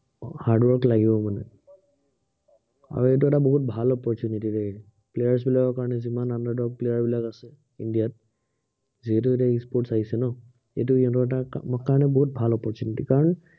hard work লাগিবই মানে। আৰু এইটো এটা বহুত ভাল opportunity দেই। players বিলাকৰ কাৰনে, যিমান underdogs players বিলাক আছে, ইন্দিয়াত, যিহেতু এটা e- sports আহিছে ন, এইটো ইহঁতৰ কাৰনে বহুত ভাল opportunity কাৰন